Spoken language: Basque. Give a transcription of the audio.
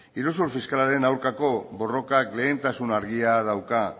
iruzur fiskalaren aurkako borrokak lehentasun argia dauka